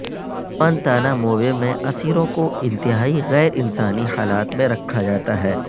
Guantanamo Bay میں اسیروں کو انتہائی غیر انسانی حالات میں رکھا جاتا ہے